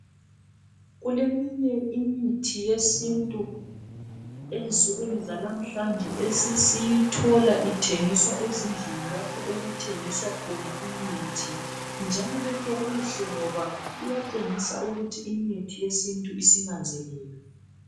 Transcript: Kuleminye imithi yesintu ensukwini zalamuhlanje esesiyithola ithengiswa ezindlini, lapho okuthengiswa khona iimithi, njalo lokho kuhle, ngoba kuyatshengisa ukuthi imithi yesintu isinanzelelwe.